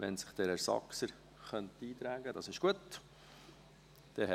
Wenn sich Herr Saxer noch in die Rednerliste eintragen könnte?